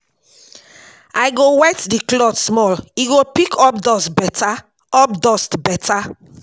I go wet di cloth small, e go pick up dust beta. up dust beta.